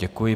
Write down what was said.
Děkuji.